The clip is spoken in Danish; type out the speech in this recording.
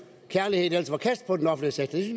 kærligheden ellers var kastet på den offentlige sektor det